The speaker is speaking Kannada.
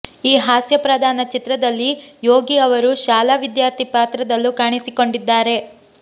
ಈ ಹಾಸ್ಯಪ್ರಧಾನ ಚಿತ್ರದಲ್ಲಿ ಯೋಗಿ ಅವರು ಶಾಲಾ ವಿದ್ಯಾರ್ಥಿ ಪಾತ್ರದಲ್ಲೂ ಕಾಣಿಸಿಕೊಂಡಿದ್ದಾರೆ